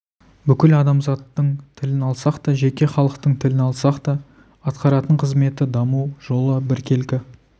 бүкіл адамзаттың тілін алсақ та жеке халықтың тілін алсақ та атқаратын қызметі даму жолы біркелкі